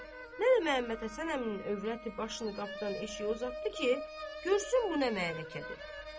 Nə də Məhəmməd Həsən əminin övrəti başını qapıdan eşiyə uzatdı ki, görsün bu nə məharəkədir.